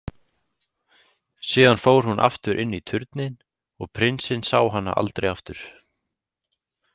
Síðan fór hún aftur inn í turninn og prinsinn sá hana aldrei aftur.